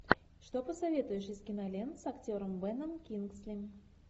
что посоветуешь из кинолент с актером беном кингсли